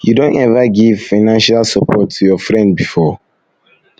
you don ever give financial support to your friend before